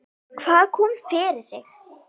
Hvað kom fyrir þig?